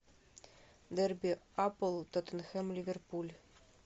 дерби апл тоттенхэм ливерпуль